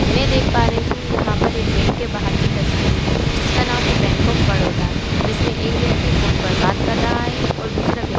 मैं देख पर रही हू यहाँ पर एक बैंक के बाहर की तस्वीर जिसका नाम है बैंक ऑफ बड़ोदा जिसमें एक व्यक्ति फोन पर बात कर रहा है और दूसरा व्यक् --